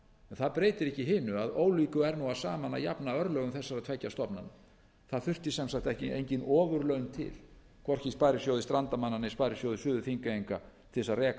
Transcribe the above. það breytir ekki hinu að ólíku er nú saman að jafna örlögum þessara tveggja stofnana það þurfi sem sagt engin ofurlaun til hvorki í sparisjóði strandamanna né sparisjóði suður þingeyinga til þess að reka